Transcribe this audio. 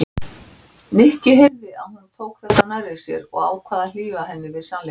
Hann er nú einu sinni maðurinn minn en hann verður að sofa einn.